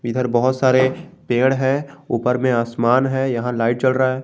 इधर बहुत सारे पेड़ है ऊपर में आसमान है यहां लाइट जल रहा है।